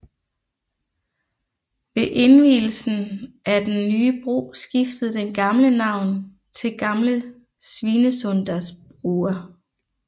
Ved indvielsen af den nye bro skiftede den gamle navn til Gamle Svinesundsbrua